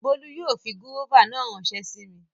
Bólú yóò fi gúróvà náà ránsẹ́ sí mi